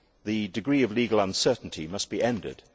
The degree of legal uncertainty must be ended.